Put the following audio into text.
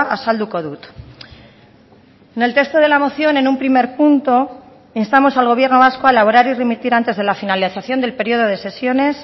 azalduko dut en el texto de la moción en un primer punto instamos al gobierno vasco a elaborar y remitir antes de la finalización del periodo de sesiones